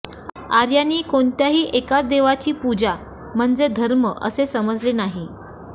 आर्यांनी कोणत्याही एकाच देवतेची पूजा म्हणजे धर्म असे समजले नाही